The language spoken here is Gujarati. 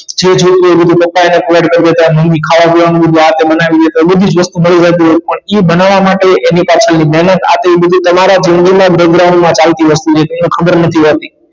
બધી જ વસ્તુ મળી રહેતી પણ ઇ બનાવા માટે એની પાછળ ની મહેનત આ તે એ બધુ તમારા જિંદગી ના માં ચાલતી વસ્તુ છે એ ખબર નથી હોતી